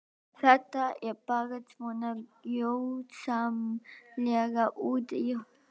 Þetta er bara svo gjörsamlega út í hött sagði Svein